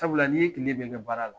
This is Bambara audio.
Sabula n'i ye kile bɛ kɛ baara la